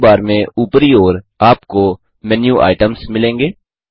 मेनू bar में ऊपरी ओर आपको मेनू आइटम्स मिलेंगे